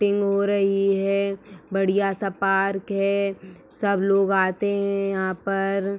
टिंग हो रही है। बढ़िया सा पार्क है। सब लोग आते हैं यहाँ पर।